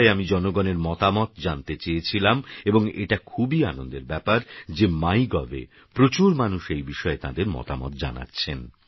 এইবিষয়েআমিজনগণেরমতামতজানতেচেয়েছিলামএবংএটাখুবইআনন্দেরব্যাপারযেmygovএপ্রচুরমানুষএইবিষয়েতাঁদেরমতামতজানাচ্ছেন